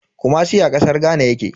Kumasi a kasar Ghana yake.